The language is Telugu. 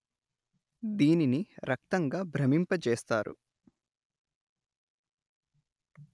దీనిని రక్తంగా భ్రమింపజేస్తారు